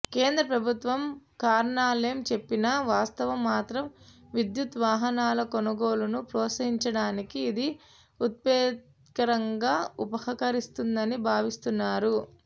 కేంద్ర ప్రభుత్వం కారణాలేం చెప్పినా వాస్తవం మాత్రం విద్యుత్ వాహనాల కొనుగోలును ప్రోత్సహించడానికి ఇది ఉత్ప్రేరకంగా ఉపకరిస్తుందని భావిస్తున్నారు